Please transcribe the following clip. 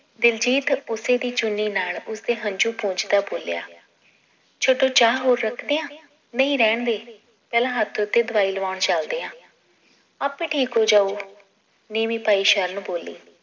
ਦਿਲਜੀਤ ਉਸੀ ਦੀ ਚੁੰਨੀ ਨਾਲ ਉਸਦੇ ਹੰਜੂ ਪੂੰਝਦਾ ਬੋਲਿਆ ਛੱਡੋ ਚਾਅ ਹੋਰ ਰੱਖਦਿਆਂ ਨਈ ਰਹਿੰਦੇ ਪਹਿਲਾਂ ਹੱਥ ਉੱਤੇ ਦਵਾਈ ਲਵਾਉਣ ਚਲਦੇ ਆ ਆਪੇ ਠੀਕ ਹੋਜਾਉ ਨੀਵੀਂ ਪਾਈ ਸ਼ਰਨ ਬੋਲੀ